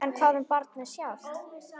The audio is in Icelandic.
En hvað um barnið sjálft?